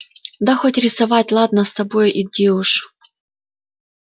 да хоть рисовать ладно с тобой иди уж